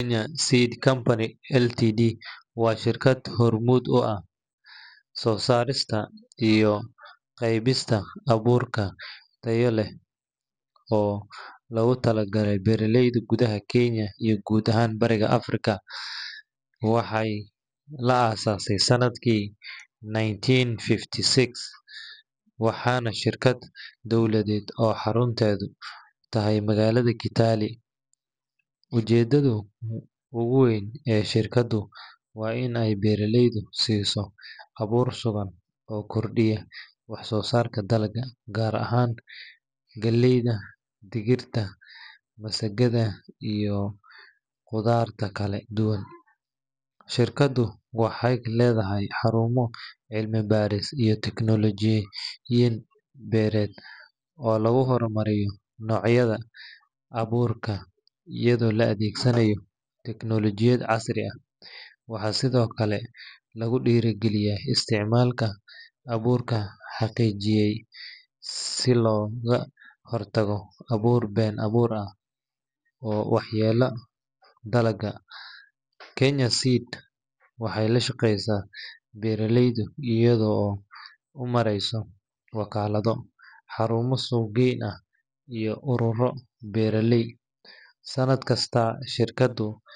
Kenya Seed Company Ltd waa shirkad hormuud u ah soo saarista iyo qaybinta abuur tayo sare leh oo loogu talagalay beeraleyda gudaha Kenya iyo guud ahaan Bariga Afrika. Waxaa la aasaasay sannadkii nineteen fifty six, waana shirkad dowladeed oo xarunteedu tahay magaalada Kitale. Ujeeddada ugu weyn ee shirkaddu waa in ay beeraleyda siiso abuur sugan oo kordhiya wax-soosaarka dalagga, gaar ahaan galleyda, digirta, masagada, iyo qudaarta kala duwan. Shirkaddu waxay leedahay xarumo cilmi-baaris iyo tijaabooyin beereed oo lagu horumariyo noocyada abuurka, iyadoo la adeegsanayo tiknoolajiyad casri ah. Waxaa sidoo kale lagu dhiirrigeliyaa isticmaalka abuurka la xaqiijiyay si looga hortago abuur been-abuur ah oo waxyeeleeya dalagga. Kenya Seed waxay la shaqaysaa beeraleyda iyada oo u maraysa wakaalado, xarumo suuq-geyn ah, iyo ururo beeraley. Sannad kasta, shirkaddu.